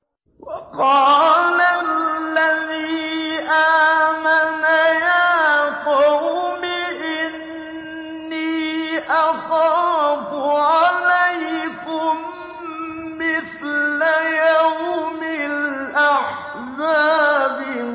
وَقَالَ الَّذِي آمَنَ يَا قَوْمِ إِنِّي أَخَافُ عَلَيْكُم مِّثْلَ يَوْمِ الْأَحْزَابِ